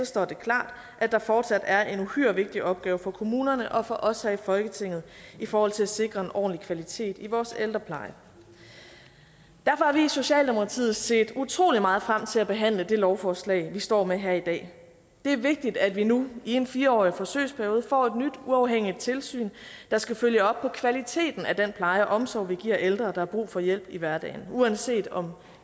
står det klart at der fortsat er en uhyre vigtig opgave for kommunerne og for os her i folketinget i forhold til at sikre en ordentlig kvalitet i vores ældrepleje derfor har vi i socialdemokratiet set utrolig meget frem til at behandle det lovforslag vi står med her i dag det er vigtigt at vi nu i en fire årig forsøgsperiode får et nyt uafhængigt tilsyn der skal følge op på kvaliteten af den pleje og omsorg vi giver ældre der har brug for hjælp i hverdagen uanset om